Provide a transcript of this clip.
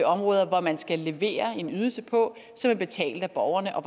områder man skal levere en ydelse på som er betalt af borgerne og